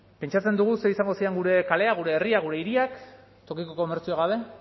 pentsatzen dugu ze izango ziren gure kaleak gure herria gure hiriak tokiko komertzio gabe